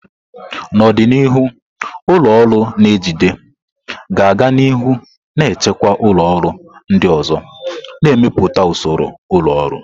N'ọdịnihu, ụlọ ọrụ na-ejide ga a-ga nihu na-achịkwa ụlọ ọrụ ndị ọzọ, na-emepụta usoro ụlọ ọrụ.